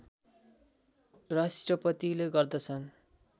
राष्ट्रपतिले गर्दछन्